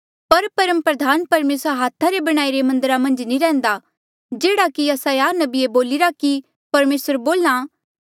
पर परमप्रधान परमेसर हाथा रे बणाईरे मन्दरा मन्झ नी रैहन्दा जेह्ड़ा कि यसायाह नबिये बोलिरा कि परमेसर बोल्हा